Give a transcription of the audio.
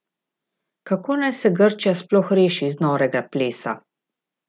Kako naj se Grčija sploh reši iz norega plesa?